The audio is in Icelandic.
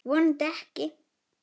Vonandi ekki.